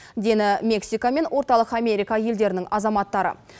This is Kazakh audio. дені мексика мен орталық америка елдерінің азаматтары